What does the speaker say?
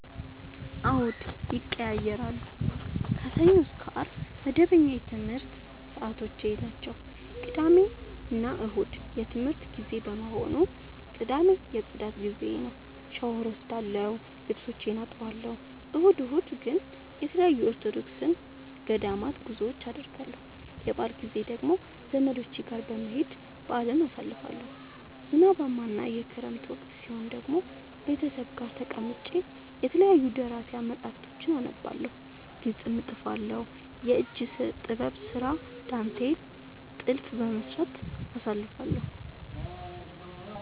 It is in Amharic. አዎድ ይቀየያራሉ። ከሰኞ እስከ አርብ መደበኛ የትምረት ሰዓቶቼናቸው ቅዳሜና እሁድ የእረፍት ጊዜ በመሆኑ። ቅዳሜ የፅዳት ጊዜዬ ነው። ሻውር እወስዳለሁ ልብሶቼን አጥባለሁ። እሁድ እሁድ ግን ተለያዩ የኦርቶዶክስ ገዳማት ጉዞወችን አደርገለሁ። የበአል ጊዜ ደግሞ ዘመዶቼ ጋር በመሄድ በአልን አሳልፋለሁ። ዝናባማ እና የክረምት ወቅት ሲሆን ደግሞ ቤተሰብ ጋር ተቀምጬ የተለያዩ ደራሲያን መፀሀፍቶችን አነባለሁ፤ ግጥም እጥፋለሁ፤ የእጅ ጥበብ ስራ ዳንቴል ጥልፍ በመስራት አሳልፍለሁ።